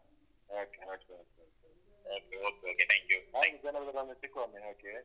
ಆಯ್ತು ಆಯ್ತು ಹಾಗೆ ಜನವರಿಯಲ್ಲಿ ಒಮ್ಮೆ ಸಿಕ್ಕುವ ಒಮ್ಮೆ okay.